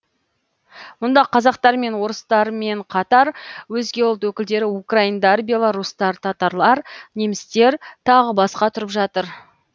мұнда қазақтармен орыстармен қатар өзге ұлт өкілдері украиндар белорустар татарлар немістер тағы басқа тұрып жатыр